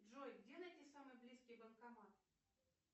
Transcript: джой где найти самый близкий банкомат